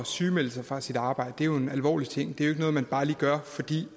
sygemelde sig fra sit arbejde er jo en alvorlig ting det er noget man bare lige gør fordi